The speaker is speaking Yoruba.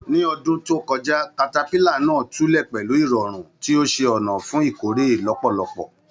Ní ọdún tó kọjá, katakara náà tulẹ̀ pẹlú ìrọ̀rùn, tí ó ṣe ọ̀nà fún ìkórè lọ́pọ̀lọpọ̀.